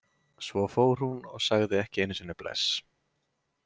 Svo fór hún og sagði ekki einu sinni bless.